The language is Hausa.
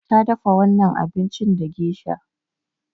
Ta dafa wannan abincin da gesha.